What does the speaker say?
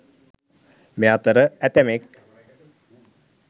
මේ අතර ඇතැමෙක්